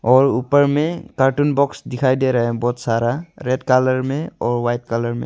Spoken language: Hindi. और ऊपर में कार्टून बॉक्स दिखाई दे रहा है बहुत सारा रेड कलर में और वाइट कलर में।